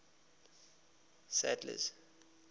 sadler's